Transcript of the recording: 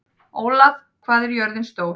Ólaf, hvað er jörðin stór?